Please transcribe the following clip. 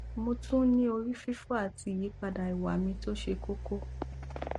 mo tún n ní ori fifo àti ìyípadà ìwà mi tó ṣe kókó